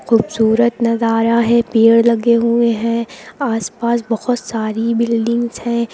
खूबसूरत नजारा है पेड़ लगे हुए हैं आसपास बहुत सारी बिल्डिंग्स हैं।